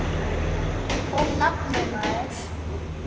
Og nafnið, maður.